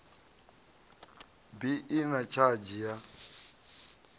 bi i na tshadzhi ya